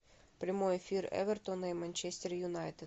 прямой эфир эвертона и манчестер юнайтед